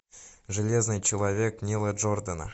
железный человек нила джордана